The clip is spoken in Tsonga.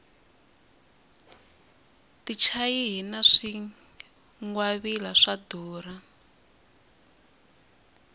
tichayihi na swingwavila swa durha